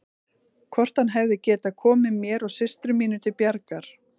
Hvort hann hefði getað komið mér og systrum mínum til bjargar.